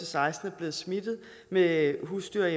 seksten er blevet smittet med husdyr